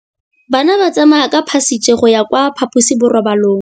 Bana ba tsamaya ka phašitshe go ya kwa phaposiborobalong.